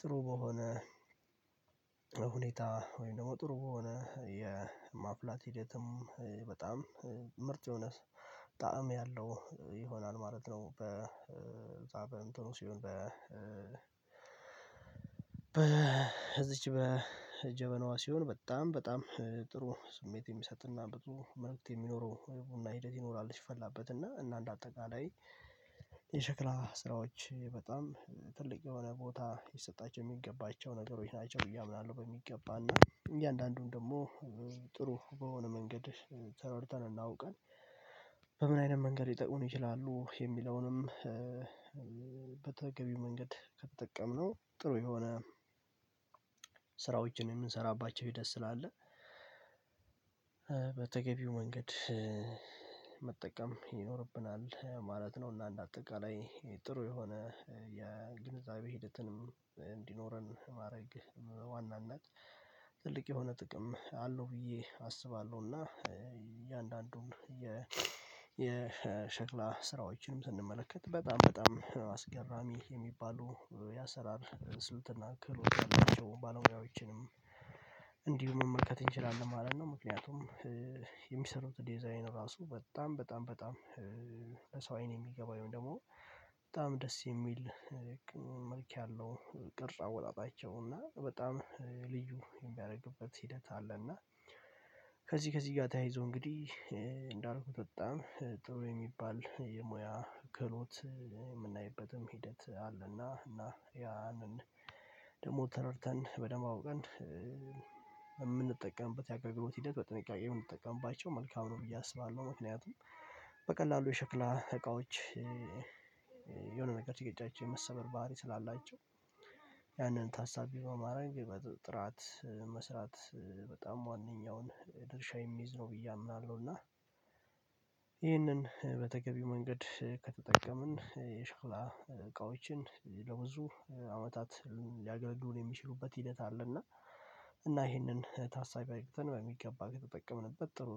ጥሩ በሆነ ሁኔታ ወይም ደግሞ ጥሩ የሆነ የማፍላት ሂደትም በጣም ምርጥ የሆነ ጣዕም ያለው ይሆናል ማለት ነው። በዛ በእንትኑ ሲሆን በ በዚች በጀበናዋ ሲሆን በጣም በጣም ጥሩ ስሜት የሚሰጥና ብዙ መልእክት የሚኖረው ቡና ሂደት ይኖራል ሲፈላበት እና እና እንደ አጠቃላይ የሸክላ ስራዎች በጣም ትልቅ የሆነ ቦታ ሊሰጣቸው የሚገባቸው ነገሮች ናቸው። ብየ አያምናለሁ በሚገባ እና እያንዳንዱን ደግሞ ጥሩ በሆነ መንገድ ተረድተን እና አውቀን በምን አይነት መንገድ ሊጠቅሙን ይችላሉ የሚለውንም በተገቢው መንገድ ከተጠቀምነው ጥሩ የሆነ ስራዎችን የምንሰራባቸው ሂደት ስላለ በተገቢው መንገድ መጠቀም ይኖርብናል ማለት ነው። እና እንደ አጠቃላይ ጥሩ የሆነ የግንዛቤ ሂደትንም እንዲኖረን ማድረግ ዋና እና ትልቅ የሆነ ጥቅም አለው ብዬ አስባለሁ። እና እያንዳንዱን የሸክላ ስራዎችንም ስንመለከት በጣም በጣም አስገራሚ የሚባሉ ያሰራር ስልትና ክህሎት ያላቸው ባለሙያዎችንም እንዲሁ መመልከት እንችላለን ማለት ነው። ምክንያቱም የሚሰሩት ዲዛይን ራሱ በጣም በጣም በጣም ለሰው አይን የሚገባ ደግሞ በጣም ደስ የሚል መልክ ያለው ቅርጽ አወጣጣቸው እና በጣም ልዩ የሚያደርግበት ሂደት አለ። እና ከዚህ ከዚህ ጋር ተያይዞ እንግዲህ እንዳልኩት በጣም ጥሩ የሚባል የሙያ ክህሎት የምናይበትም ሂደት አለና እና ያንን ደግሞ ተረድተን በደንብ አውቀን የምንጠቀምበት ያገልግሎት ሂደት በጥንቃቄ ብንጠቀምባቸው መልካም ነው ብዬ አስባለሁ። ምክንያቱም በቀላሉ የሸክላ እቃዎች የሆነ ነገር ሲገጫቸው የመሰበር ባህሪ ስላላቸው ያንን ታሳቢ በማረግ በጥራት መስራት በጣም ዋንኛውን ድርሻ የሚይዝ ነው ብዬ አምናለሁ። እና ይህንን በተገቢ መንገድ ከተጠቀምን የሸክላ እቃዎችን ለብዙ አመታት ሊያገለግሉን የሚችሉበት ሂደት አለ እና እና ይሄንን ታሳቢ አግኝተን በሚገባ ከተጠቀምንበት ጥሩ